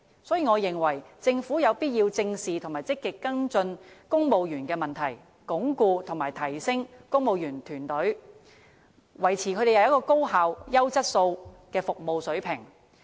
所以，我認為政府有必要正視和積極跟進公務員的問題，鞏固和提升公務員團隊，維持高效和優質的服務水平。